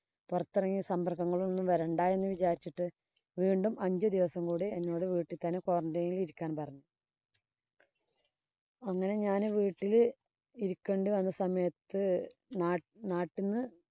പൊറത്തെറങ്ങി ഇനി സമ്പര്‍ക്കങ്ങള്‍ ഒന്നും വരണ്ട എന്ന് വിചാരിച്ചിട്ട് വീണ്ടും അഞ്ചു ദെവസം കൂടി വീട്ടില്‍ തന്നെ എന്നോട് qurantine ഇരിക്കാന്‍ പറഞ്ഞു അങ്ങനെ ഞാന്‍ വീട്ടീല് ഇരിക്കേണ്ടി വന്ന സമയത്ത്